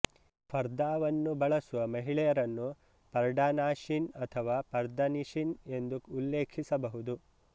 ಫರ್ದಾವನ್ನು ಬಳಸುವ ಮಹಿಳೆಯರನ್ನು ಪಾರ್ಡನಾಶಿನ್ ಅಥವಾ ಪರ್ದಾನಿಷಿನ್ ಎಂದು ಉಲ್ಲೇಖಿಸಬಹುದು